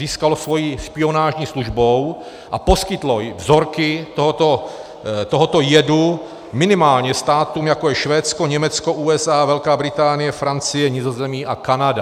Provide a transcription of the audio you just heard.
Získalo svou špionážní službou a poskytlo vzorky tohoto jedu minimálně státům, jak je Švédsko, Německo, USA, Velká Británie, Francie, Nizozemí a Kanada.